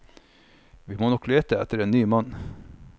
Vi må nok lete etter en ny mann.